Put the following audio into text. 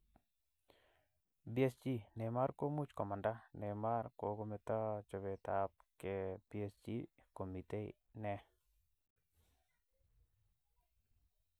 PSG: Neymar komuch komanda. Neymar kokometo chopetab ke PSG - komite ne?